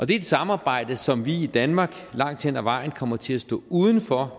det er et samarbejde som vi i danmark langt hen ad vejen kommer til at stå uden for